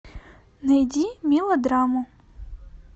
найди мелодраму